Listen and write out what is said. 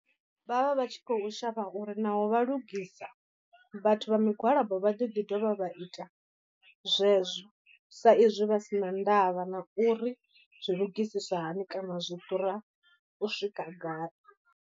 Vhavha vha tshi khou shavha uri naho vha lugisa vhathu vha migwalabo vha ḓo ḓi dovha vha ita zwezwo sa izwi vha si na ndavha na uri zwi lugisiswa hani kana zwi ḓura u swika gai.